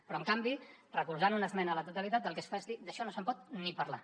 però en canvi recolzant una esmena a la totalitat el que es fa és dir d’això no se’n pot ni parlar